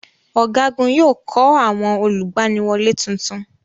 Ọ̀gágun yóò kọ́ àwọn olùgbaniwọlé tuntun.